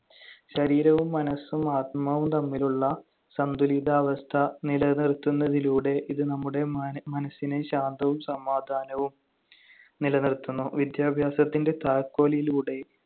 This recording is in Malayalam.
ശരീരവും മനസ്സും ആത്മാവും തമ്മിലുള്ള സന്തുലിതാവസ്ഥ നിലനിറുത്തുന്നതിലൂടെ ഇത് നമ്മുടെ മാന~ മനസ്സിനെ ശാന്തവും സമാധാനവും നിലനിർത്തുന്നു. വിദ്യാഭ്യാസത്തിന്‍റെ താക്കോലിലൂടെ